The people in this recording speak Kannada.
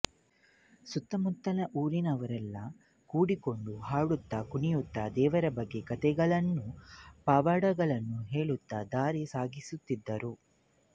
ಸುತ್ತಮುತ್ತಲ ಊರಿನವರೆಲ್ಲ ಕೂಡಿಕೊಂಡು ಹಾಡುತ್ತಕುಣಿಯುತ್ತಾ ದೇವರ ಬಗ್ಗೆ ಕಥೆಗಳನ್ನು ಪವಾಡಗಳನ್ನು ಹೇಳುತ್ತಾ ದಾರಿ ಸಾಗಿಸುತ್ತಿದ್ದರು